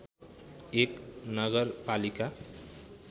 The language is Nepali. एक नगरपालिका